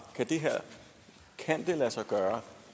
kan det lade sig gøre